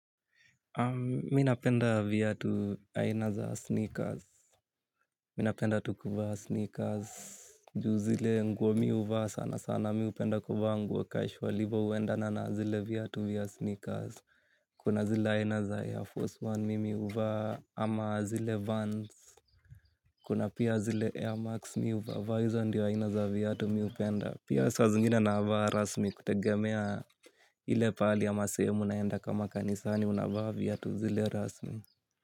Mi napenda vya tu haina za sneakers, mi na enda tu kuvaa sneakers. Juu zile nguo mi uvaa sana sana mi upenda kwa vanguo casual ivo uenda na na zile vya tu via sneakers. Kuna zile haina za Air Force One mi uvaa ama zile Vans. Kuna pia zile Air Max mi uvaa vaa hizo ndiyo haina za vya tu mi upenda. Pia sa zingine na vya rasmi kutegemea ile pali ama sehemu naenda kama kanisani unavaa viatu zile rasmi Muzika.